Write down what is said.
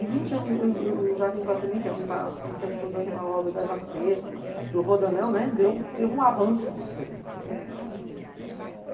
Em vinte anos, o o o Jardim do Iguatemi, que é onde está acontecendo toda aquela obra da Jaco Pesco, do Rodoanel, né, deu, teve um avanço muito grande, né.